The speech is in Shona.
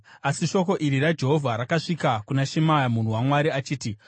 Asi shoko iri raJehovha rakasvika kuna Shemaya munhu waMwari richiti,